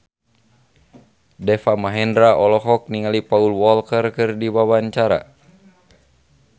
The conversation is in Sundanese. Deva Mahendra olohok ningali Paul Walker keur diwawancara